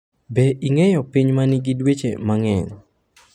Be ing’eyo piny ma nigi dweche mang’eny?